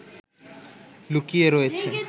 লুকিয়ে রয়েছে